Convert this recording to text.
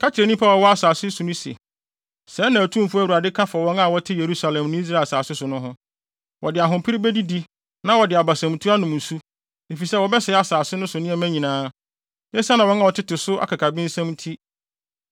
Ka kyerɛ nnipa a wɔwɔ asase no so no se, ‘Sɛɛ na Otumfo Awurade ka fa wɔn a wɔte Yerusalem ne Israel asase so no ho: Wɔde ahopere bedidi na wɔde abasamtu anom nsu, efisɛ wɔbɛsɛe asase no so nneɛma nyinaa, esiane wɔn a wɔtete so no akakabensɛm nti.